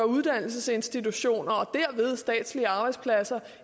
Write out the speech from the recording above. uddannelsesinstitutioner og derved statslige arbejdspladser